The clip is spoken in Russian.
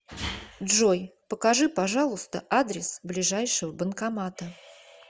джой покажи пожалуйста адрес ближайшего банкомата